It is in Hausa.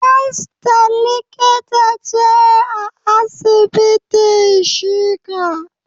Esther likita ce a asibitin shika.